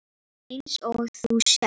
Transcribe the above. Eins og þú sérð.